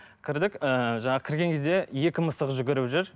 кірдік ыыы жаңағы кірген кезде екі мысық жүгіріп жүр